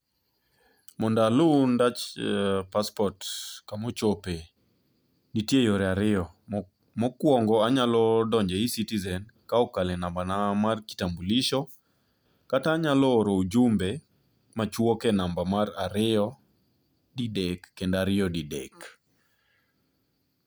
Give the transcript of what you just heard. Mondo alu ndach passport kuma ochope, nitie yore ariyo, mokuongo anyalo donjo e eCitizen kokalo e nambana mar kitambuliso kata anyalo oro ujumbe machuok e namba mar ariyo didek kendo ariyo dedek.